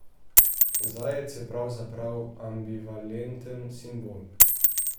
Zajec je pravzaprav ambivalenten simbol.